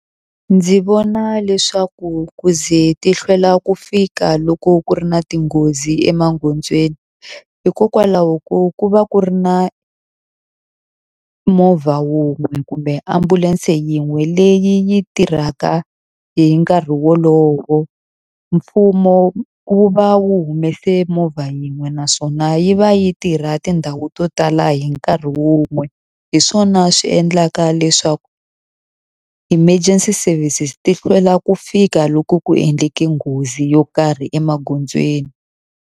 Ndzi vona leswaku ku ze ti hlwela ku fika loko ku ri na tinghozi emagondzweni, hikokwalaho ko ku va ku ri na movha wun'we kumbe ambulense yin'we leyi yi tirhaka hi nkarhi wolowo. Mfumo wu va wu humese movha yin'we naswona yi va yi tirha tindhawu to tala hi nkarhi wun'we. Hi swona swi endlaka leswaku emergency services ti hlwela ku fika loku ku endleke nghozi yo karhi emagondzweni.